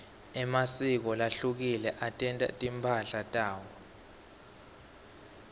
emasiko lahlukile atentela timphahla tawo